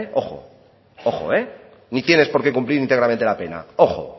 ojo ni tienes por qué cumplir íntegramente la pena ojo